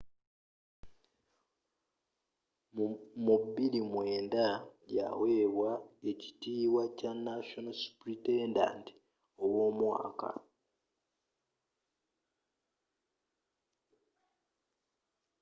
mu 2009 yaweebwa ekitiibwa kya national supritendant ow'omwaka